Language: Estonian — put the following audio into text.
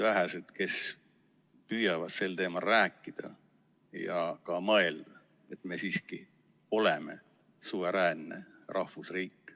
Vähesed püüavad sel teemal rääkida ja ka mõelda, et me siiski oleme suveräänne rahvusriik.